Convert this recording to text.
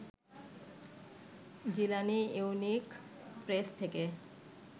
Jilani unique press থেকে